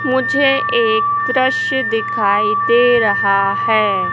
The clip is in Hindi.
मुझे एक दृश्य दिखाई दे रहा है।